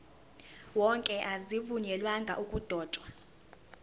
wonke azivunyelwanga ukudotshwa